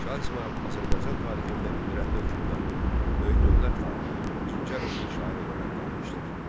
Şah İsmayıl Azərbaycan tarixində qüdrətli hökmdar, böyük dövlət xadimi, incə ruhlu şair olaraq qalmışdır.